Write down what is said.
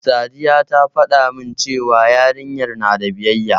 Sadiya ta faɗa min cewa yarinyar na da biyayya.